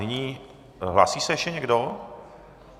Nyní - hlásí se ještě někdo?